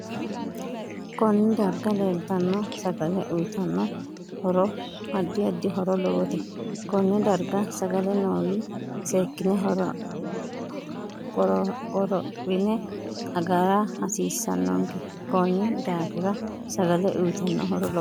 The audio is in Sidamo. Konne darga leeltanno sagale uyiitanno horo addi addi horo lowote konne darga sagale noow seekine qoroohine agara hasiisanonke konni daafra sagale uyiitanno horo lowote